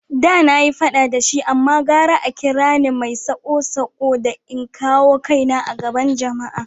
Da na yi fada da shi amma gara a kira ni mai sako-sako da in kawo kaina a gaban jama’a.